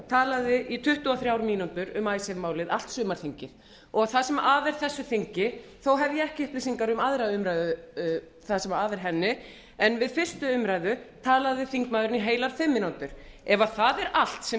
talaði í tuttugu og þrjár mínútur um icesave málið allt sumarþingið og það sem af er þessu þingi þó hef ég ekki upplýsingar um það sem af er annarrar umræðu en við fyrstu umræðu talaði þingmaðurinn í heilar fimm mínútur ef það er allt sem